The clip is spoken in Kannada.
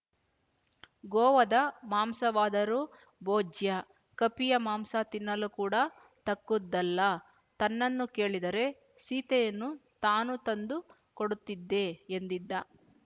ಗೋವದ ಮಾಂಸವಾದರೂ ಭೋಜ್ಯ ಕಪಿಯ ಮಾಂಸ ತಿನ್ನಲು ಕೂಡ ತಕ್ಕುದಲ್ಲ ತನ್ನನ್ನು ಕೇಳಿದ್ದರೆ ಸೀತೆಯನ್ನು ತಾನು ತಂದು ಕೊಡುತ್ತಿದ್ದೆ ಎಂದಿದ್ದ